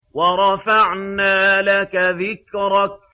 وَرَفَعْنَا لَكَ ذِكْرَكَ